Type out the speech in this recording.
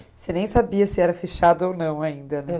Você nem sabia se era fichado ou não ainda, né?